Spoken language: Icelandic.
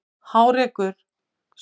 Hárekur, spilaðu lag.